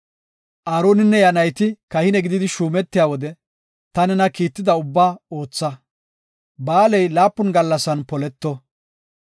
“Aaroninne iya nayti kahine gididi shuumetiya wode, ta nena kiitida ubbaa ootha; ba7aaley laapun gallasan poleto.